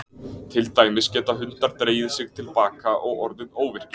Til dæmis geta hundar dregið sig til baka og orðið óvirkir.